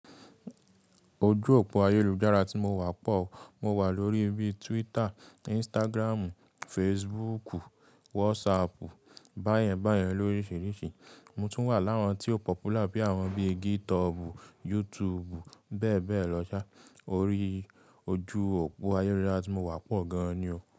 Ojú òpó ayélujára tí mo wà pọ̀. Mo wà lórí bíi Twitter, Instagram, Facebook, WhatsApp, báyẹn báyẹn lóríṣiríṣi. Mo tún wà lára tí ó pọpula bíi àwọn bíi GitHub, YouTube bẹ́ẹ̀ bẹ́ẹ̀ lọ sa. Orí ojú òpó ayélujára tí mo wà pọ̀ gan ni o.